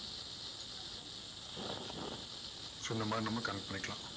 so இந்த மாதிரி நம்ம connect பண்ணிக்கலாம்.